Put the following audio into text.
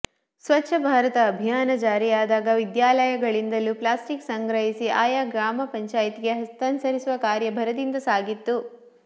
ಸ್ವತ್ಛ ಭಾರತ ಅಭಿಯಾನ ಜಾರಿಯಾದಾಗ ವಿದ್ಯಾಲಯಗಳಿಂದಲೂ ಪ್ಲಾಸ್ಟಿಕ್ ಸಂಗ್ರಹಿಸಿ ಆಯಾ ಗ್ರಾಮ ಪಂಚಾಯತ್ಗೆ ಹಸ್ತಾಂತರಿಸುವ ಕಾರ್ಯಭರದಿಂದ ಸಾಗಿತ್ತು